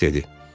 Greys dedi.